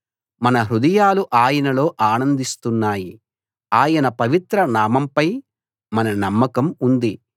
మన హృదయాలు ఆయనలో ఆనందిస్తున్నాయి ఆయన పవిత్ర నామంపై మన నమ్మకం ఉంది